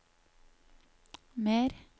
mer